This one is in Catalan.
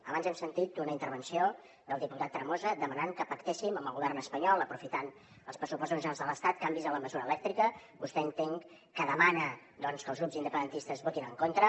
abans hem sentit una intervenció del diputat tremosa demanant que pactéssim amb el govern espanyol aprofitant els pressupostos generals de l’estat canvis en la mesura elèctrica vostè entenc que demana doncs que els grups independentistes hi votin en contra